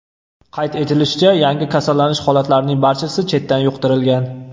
Qayd etilishicha, yangi kasallanish holatlarining barchasi chetdan yuqtirilgan.